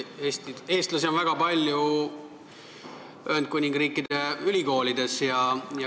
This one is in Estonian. Eestlasi on Ühendkuningriigi ülikoolides väga palju.